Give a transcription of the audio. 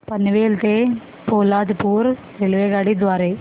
पनवेल ते पोलादपूर रेल्वेगाडी द्वारे